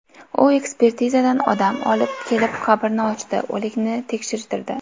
U ekspertizadan odam olib kelib qabrni ochdi, o‘likni tekshirtirdi.